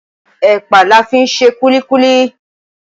Ẹ̀pà la fi ń ṣe kúlíkúlí